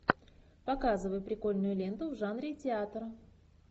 показывай прикольную ленту в жанре театра